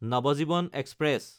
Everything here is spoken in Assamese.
নৱজীৱন এক্সপ্ৰেছ